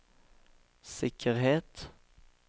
sikkerhet